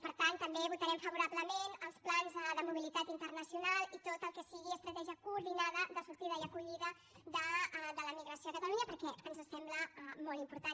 per tant també votarem favorablement als plans de mobilitat internacional i tot el que sigui estratègia coordinada de sortida i acollida de la migració a catalunya perquè ens sembla molt important